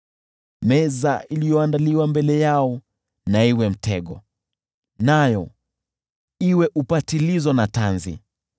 Meza iliyoandaliwa mbele yao na iwe mtego, nayo iwe upatilizo na tanzi.